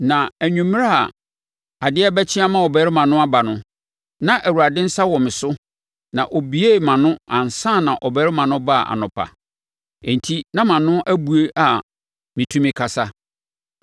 Na anwummerɛ a adeɛ rebɛkyeɛ ama ɔbarima no aba no, na Awurade nsa wɔ me so na ɔbuee mʼano ansa na ɔbarima no baa anɔpa. Enti na mʼano abue a metumi kasa.